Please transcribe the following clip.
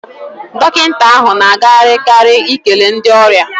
Dọkịta ahụ na agagharị karị ikele ndị ọrịa.